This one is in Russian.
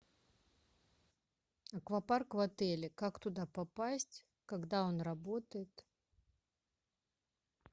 аквапарк в отеле как туда попасть когда он работает